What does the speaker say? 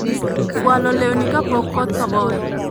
Fualo lewni ka pok koth ogoyo